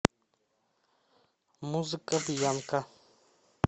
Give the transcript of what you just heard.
музыка бьянка